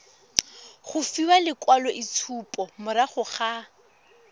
go fiwa lekwaloitshupo morago ga